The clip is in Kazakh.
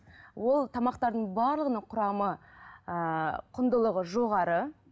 ол тамақтардың барлығының құрамы ыыы құндылығы жоғары